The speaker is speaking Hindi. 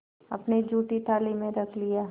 अपनी जूठी थाली में रख लिया